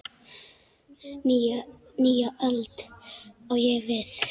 Nýja öld, á ég við.